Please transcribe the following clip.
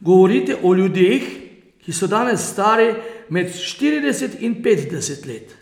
govorite o ljudeh, ki so danes stari med štirideset in petdeset let.